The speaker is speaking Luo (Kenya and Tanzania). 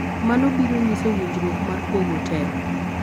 mano biro nyiso winjruok mar pogo telo